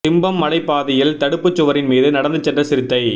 திம்பம் மலைப் பாதையில் தடுப்புச் சுவரின் மீது நடந்து சென்ற சிறுத்தை